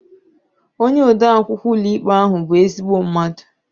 Onye ode akwụkwọ ụlọikpe ahụ bụ ezigbo mmadụ